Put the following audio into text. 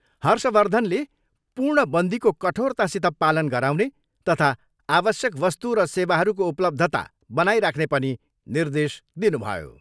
हर्षवर्धनले पूर्ण बन्दीको कठोरतासित पालन गराउने तथा आवश्यक वस्तु र सेवाहरूको उपलब्धता बनाइराख्ने पनि निर्देश दिनुभयो।